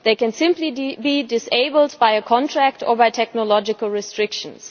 They can simply be disabled by a contract or by technological restrictions.